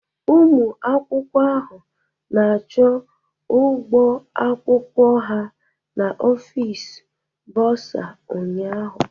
Ụmụ akwụkwọ ahụ na-akwụ ụgwọ akwụkwọ ha n'ofisi bursar ụnyahụ.